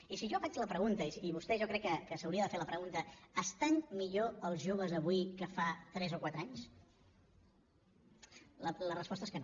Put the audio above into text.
i si jo faig la pregunta i vostè jo crec que s’hauria de fer la pregunta estan millor els joves avui que fa tres o quatre anys la resposta és que no